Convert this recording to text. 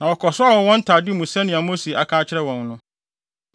Na wɔkɔsoaa wɔn wɔ wɔn ntade mu sɛnea Mose aka akyerɛ wɔn no.